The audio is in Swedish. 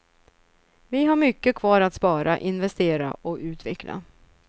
Vi har mycket kvar att spara, investera och utveckla.